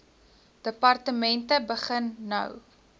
departemente begin nou